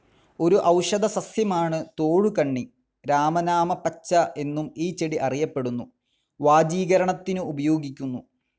ഒരു ഔഷധസസ്യമാണ് തോഴുകണ്ണി. രാമനാമപച്ച എന്നും ഈ ചെടി അറിയപ്പെടുന്നു. വാജീകരണത്തിനു ഉപയോഗിക്കുന്നു.